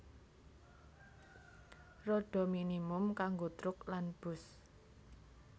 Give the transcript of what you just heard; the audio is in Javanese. Rodha minimum kanggo truk lan bus